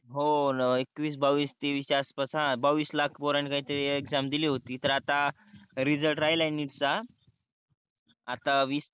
हो न एकवीस बावीस तेवीस च्या आसपास हा बावीस लाख पोरांनी काहीतरी एक्साम दिली होती तर आता रिजल्ट राहिला आहे NEET चा आता वीसच्या